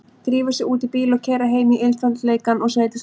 Drífa sig út í bíl og keyra heim í einfaldleikann og sveitasæluna.